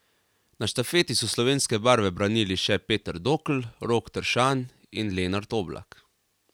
Na štafeti so slovenske barve branili še Peter Dokl, Rok Tršan in Lenart Oblak.